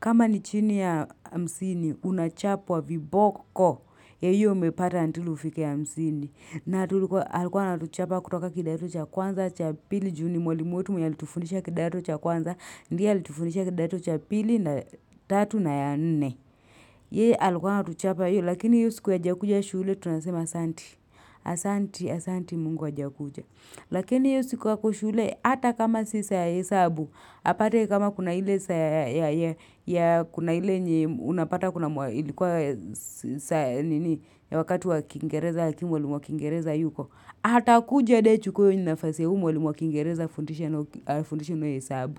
Kama ni chini ya hamsini, unachapwa viboko ya hiyo umepata until ufike hamsini. Na tulikuwa alikuwa anatuchapa kutoka kidato cha kwanza cha pili ju ni mwalimu wetu mwenye alitufundisha kidato cha kwanza. Ndiye alitufundisha kidato cha pili na tatu na ya nne. Yeye alikuwa anatuchapa, lakini hiyo siku hajakuja shule tunasema asanti. Asanti, asanti mungu hajakuja. Lakini hiyo siku ako shule, hata kama sio saa ya hesabu, apate kama kuna ile saa ya kuna ile yenye unapata kuna ilikuwa saa ya nini ya wakati wa kingereza lakini mwalimu wa kingereza hayuko, atakuja hadi achukue hiyo nafasi ya huyo mwalimu wa kingereza afundishe nayo fundisha nayo hesabu.